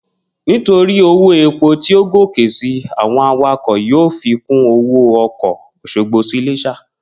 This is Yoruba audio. Nítorí owó epo tí ó gòkè si, àwo̩n awakò̩ yóò fi kún owó o̩kò̩ Ò̩sogbo sí Ilés̩à